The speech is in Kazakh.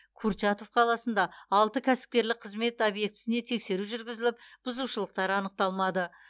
курчатов қаласында алты кәсіпкерлік қызмет объектісіне тексеру жүргізіліп бұзушылықтар анықталмады